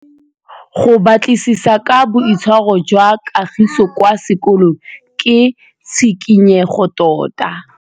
Go batlisisa ka boitshwaro jwa Kagiso kwa sekolong ke tshikinyêgô tota.